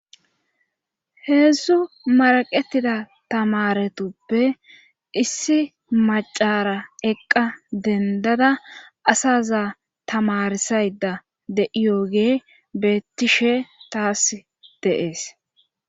heedzdzu maraqetida tamaretuppe issi macara eqqa dendada asaza tamarsayda de7iyogee beettishe taas de'es